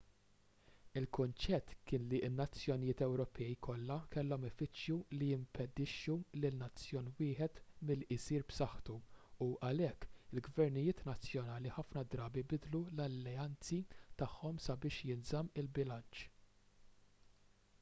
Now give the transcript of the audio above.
il-kunċett kien li n-nazzjonijiet ewropej kollha kellhom ifittxu li jimpedixxu lil nazzjon wieħed milli jsir b'saħħtu u għalhekk il-gvernijiet nazzjonali ħafna drabi bidlu l-alleanzi tagħhom sabiex jinżamm il-bilanċ